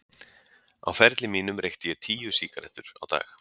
Á ferli mínum reykti ég tíu sígarettur á dag.